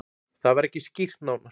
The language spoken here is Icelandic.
Það var ekki skýrt nánar.